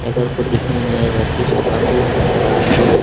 य घर को दिखने में यह घर की शोभा को बढ़ाती है।